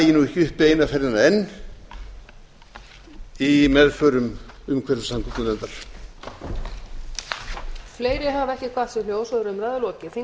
dagi ekki uppi eina ferðina enn í meðförum umhverfis og samgöngunefndar